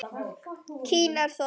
Kýrnar þornuðu upp.